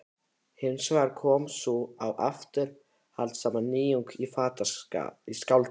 Hins vegar kom sú afturhaldssama nýjung í skáldskap